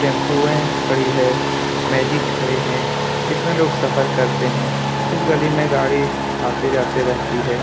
Tempo खड़ी है magic खड़ी है इसमें लोग सफर करते हैं । इस गली में गाड़ी आती जाती रहती है ।